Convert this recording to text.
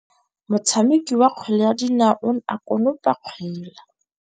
Motshameki wa kgwele ya dinaô o ne a konopa kgwele.